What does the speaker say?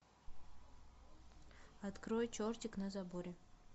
открой чертик на заборе